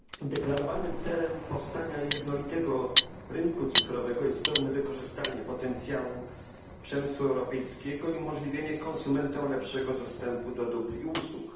Deklarowanym celem powstania jednolitego rynku cyfrowego jest pełne wykorzystanie potencjału przemysłu europejskiego i umożliwienie konsumentom lepszego dostępu do dóbr i usług.